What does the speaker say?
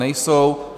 Nejsou.